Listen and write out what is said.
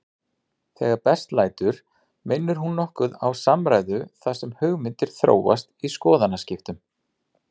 Þegar best lætur minnir hún nokkuð á samræðu þar sem hugmyndir þróast í skoðanaskiptum.